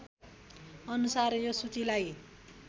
अनुसार यो सूचीलाई